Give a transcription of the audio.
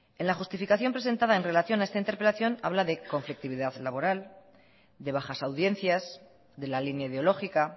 en la justificación presentada en relación a esta interpelación habla de conflictividad laboral de bajas audiencias de la línea ideológica